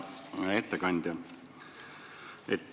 Hea ettekandja!